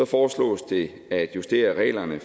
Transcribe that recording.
foreslås det at justere reglerne